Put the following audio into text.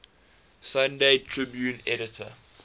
sunday tribune editor